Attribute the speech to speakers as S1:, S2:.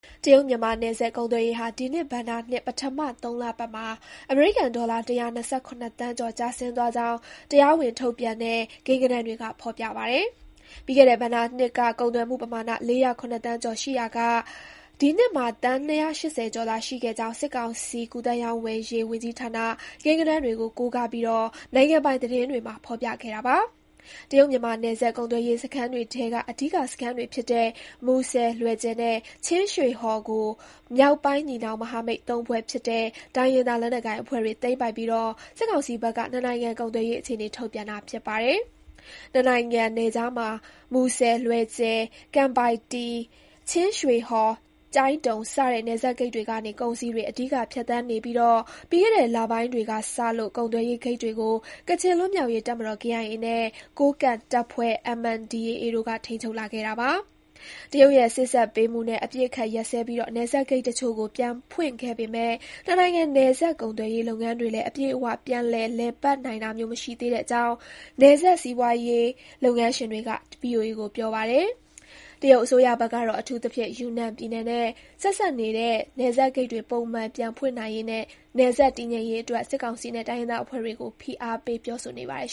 S1: တရုတ်-မြန်မာနယ်စပ် ကုန်သွယ်ရေးဟာ ဒီနှစ်ဘဏ္ဍာနှစ် ပထမ ၃ လပတ်မှာ အမေရိကန်ဒေါ်လာ ၁၂၇ သန်းကျော် ကျဆင်းသွားကြောင်း တရားဝင်ထုတ်ပြန်တဲ့ ကိန်းဂဏန်းတွေက ဖော်ပြပါတယ်။ ပြီးခဲ့တဲ့ဘဏ္ဍာနှစ်က ကုန်သွယ်မှုပမာဏ ၄၀၇ သန်းကျော် ရှိခဲ့ရာက၊ ဒီနှစ်မှာ သန်း ၂၈၀ ကျော်သာ ရှိခဲ့ကြောင်း စစ်ကောင်စီ ကူးသန်းရောင်းဝယ်ရေး ဝန်ကြီးဌာန ကိန်းဂဏန်းတွေကို ကိုးကားပြီး နိုင်ငံပိုင်သတင်းတွေမှာ ဖော်ပြခဲ့တာပါ။ တရုတ်-မြန်မာနယ်စပ် ကုန်သွယ်ရေးစခန်းတွေထဲက အဓိကစခန်းတွေဖြစ်တဲ့ မူဆယ်၊ လွယ်ဂျယ်နဲ့ ချင်းရွှေဟော်ကို မြောက်ပိုင်းညီနောင် မဟာမိတ်သုံးဖွဲ့ ဖြစ်တဲ့ တိုင်းရင်းသားလက်နက်ကိုင်အဖွဲ့တွေ သိမ်းပိုက်ပြီး စစ်ကောင်စီဘက်က နှစ်နိုင်ငံ ကုန်သွယ်ရေးအခြေအနေ ထုတ်ပြန်တာ ဖြစ်ပါတယ်။ နှစ်နိုင်ငံနယ်ခြားမှာ မူဆယ်၊ လွယ်ဂျယ်၊ ကံပိုင်တည်၊ ချင်းရွှေဟော်၊ ကျိုင်းတုံ စတဲ့ နယ်စပ်ဂိတ်တွေကနေ ကုန်စည်တွေ အဓိက ဖြတ်သန်းနေပြီး ပြီးခဲ့တဲ့ လပိုင်းတွေကစလို့ ကုန်သွယ်ရေး ဂိတ်တွေကို ကချင်လွတ်မြောက်ရေး တပ်မတော် (KIA) နဲ့ ကိုးကန့်တပ်ဖွဲ့ (MNDAA) တို့က ထိန်းချုပ်လာခဲ့ပါတယ်။ တရုတ်ရဲ့ စေ့စပ်ပေးမှုနဲ့ အပစ်အခတ်ရပ်စဲပြီး နယ်စပ်ဂိတ်တချို့ကို ပြန်ဖွင့်ခဲ့ပေမဲ့ နှစ်နိုင်ငံ နယ်စပ်ကုန်သွယ်ရေးလုပ်ငန်းတွေလည်း အပြည့်အ၀ ပြန်လည် လည်ပတ်နိုင်တာမျိုး မရှိသေးတဲ့အကြောင်း နယ်စပ် စီးပွားရေးလုပ်ငန်းရှင်တွေက VOA ကို ပြောပါတယ်။ တရုတ်အစိုးရဘက်ကတော့ အထူးသဖြင့် ယူနန်ပြည်နယ်နဲ့ ဆက်စပ်နေတဲ့ နယ်စပ်ဂိတ်တွေ ပုံမှန် ပြန်ဖွင့်နိုင်ရေးနဲ့ နယ်စပ် တည်ငြိမ်ရေးအတွက် စစ်ကောင်စီနဲ့ တိုင်းရင်းသားအဖွဲ့တွေကို ဖိအားပေး ပြောဆိုနေပါတယ်